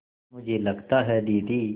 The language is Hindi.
मुझे लगता है दीदी